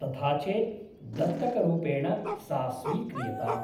तथा चेत् दत्तकरूपेण सा स्वीक्रियताम् ।